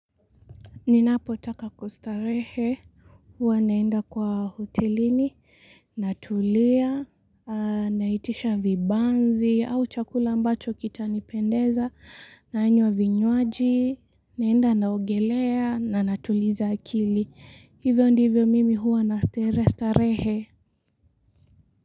Ninapo taka kustarehe, huwa naenda kwa hotelini, natulia, naitisha vibanzi au chakula ambacho kitanipendeza, naanywa vinywaji, naenda naogelea na natuliza akili. Hivyo ndivyo mimi huwa nastarehe.